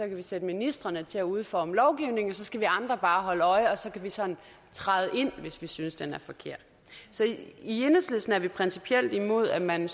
kan vi sætte ministrene til at udforme lovgivningen og så skal vi andre bare holde øje og så kan vi sådan træde ind hvis vi synes det er forkert så i enhedslisten er vi principielt imod at man